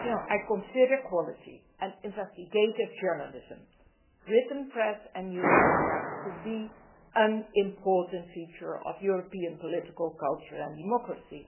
I consider quality and investigative journalism, written press and news media to be an important feature of European political culture and democracy.